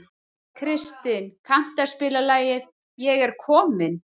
Kristin, kanntu að spila lagið „Ég er kominn“?